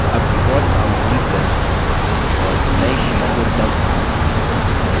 अब default name delete करें और now sheet को dump name दें